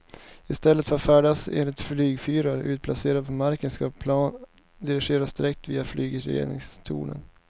I stället för att färdas efter flygfyrar utplacerade på marken ska planen dirigeras direkt via flygledningstornen.